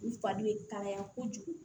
U fari bɛ kalaya kojugu